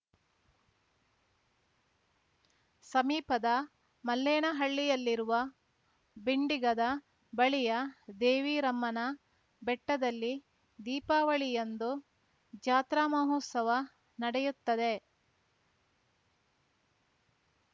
ಸಮೀಪದ ಮಲ್ಲೇನಹಳ್ಳಿಯಲ್ಲಿರುವ ಬಿಂಡಿಗದ ಬಳಿಯ ದೇವಿರಮ್ಮನ ಬೆಟ್ಟದಲ್ಲಿ ದೀಪಾವಳಿಯಂದು ಜಾತ್ರಾ ಮಹೋತ್ಸವ ನಡೆಯುತ್ತದೆ